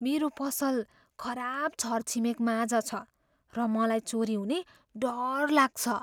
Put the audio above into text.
मेरो पसल खराब छरछिमेकमाझ छ र मलाई चोरी हुने डर लाग्छ।